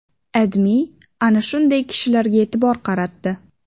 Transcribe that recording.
AdMe ana shunday kishilarga e’tibor qaratdi .